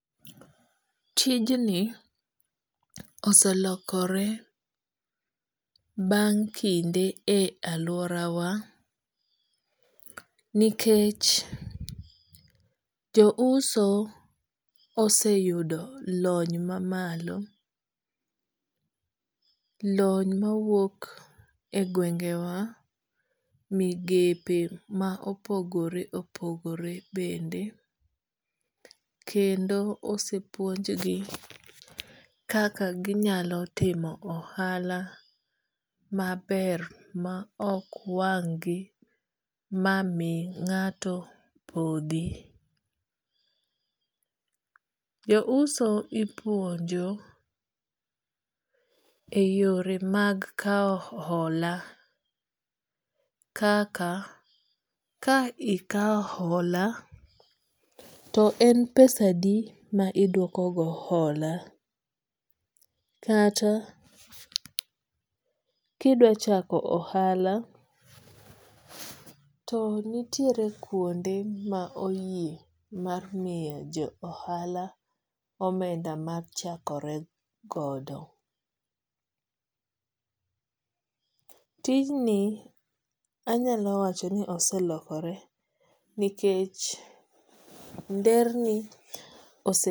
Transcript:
Tijni oselokore bang' kinde e aluora wa nikech jo uso oseyudo lony mamalo. Lony mawuok e gwenge wa, migepe ma opogore opogore bende. Kendo osepuonj gi kaka ginyalo timo ohala maber ma ok wang' gi ma mi ng'ato podhi. Jo uso ipuonjo e yore mag kaw hola kaka ka ikaw hola to en pesa adi ma iduoko go hola kata kidwa chako ohala, to nitiere kuonde ma oyie mar miyo jo ohala omenda mar ochakore godo. Tij ni anyalo wacho ni oselokore nikech nderni